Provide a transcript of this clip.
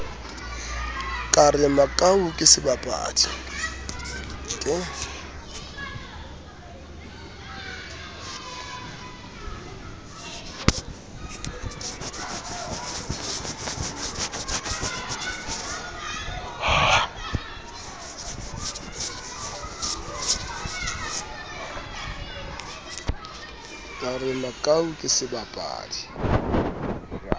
ka re makau ke sebapadi